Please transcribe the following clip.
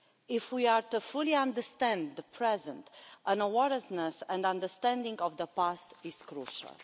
If we are fully to understand the present, an awareness and understanding of the past is crucial.